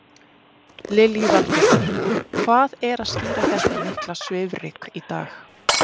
Lillý Valgerður: Hvað er að skýra þetta mikla svifryk í dag?